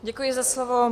Děkuji za slovo.